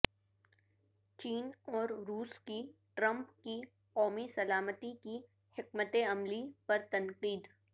چین اور روس کی ٹرمپ کی قومی سلامتی کی حکمت عملی پر تنقید